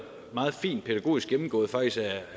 meget fint pædagogisk gennemgået